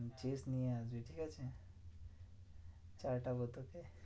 Chess নিয়ে আসবি ঠিকাছে? চাটাবো তোকে।